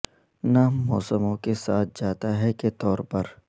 نام موسموں کے ساتھ جاتا ہے کے طور پر